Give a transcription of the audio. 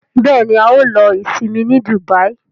Béèni ào ló Isinmi ní Dubai.